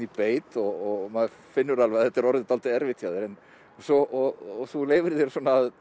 í beit og maður finnur alveg að þetta er orðið dálítið erfitt hjá þér og þú leyfir þér